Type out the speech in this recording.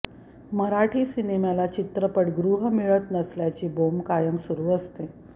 मराठी सिनेमाला चित्रपटगृह मिळत नसल्याची बोंब कायम सुरू असते